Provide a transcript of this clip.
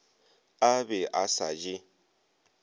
a be a sa di